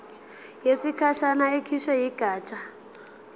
yesikhashana ekhishwe yigatsha